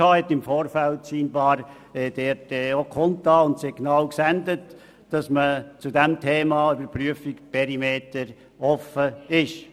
Anscheinend hat sie im Vorfeld kundgetan und auch Signale ausgesendet, wonach man beim Thema «Überprüfung Perimeter» offen sei.